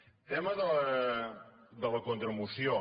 el tema de la contramoció